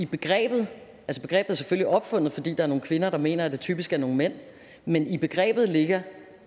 begrebet er selvfølgelig opfundet fordi er nogle kvinder der mener at det typisk er nogle mænd men i begrebet ligger